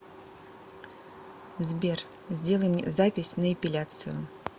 сбер сделай мне запись на эпиляцию